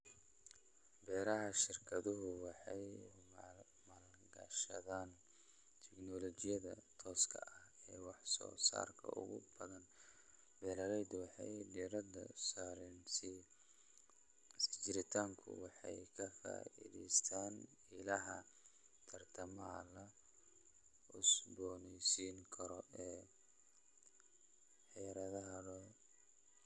Beeraha shirkaduhu waxay maalgashadaan tignoolajiyada tooska ah ee wax soo saarka ugu badan. Beeraleydu waxay diiradda saareen sii jiritaanku waxay ka faa'iidaystaan ??ilaha tamarta la cusboonaysiin karo ee beerahooda.